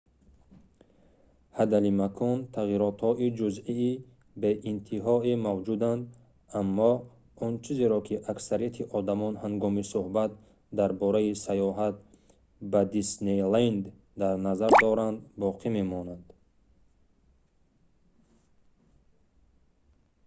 ҳадалимкон тағйиротҳои ҷузъии беинтиҳое мавҷуданд аммо он чизеро ки аксарияти одамон ҳангоми сӯҳбат дар бораи саёҳат ба диснейленд дар назар доранд боқӣ мемонад